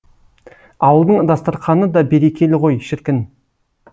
ауылдың дастарқаны да берекелі ғой шіркін